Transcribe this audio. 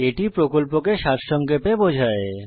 এটি প্রকল্পকে সারসংক্ষেপে বোঝায়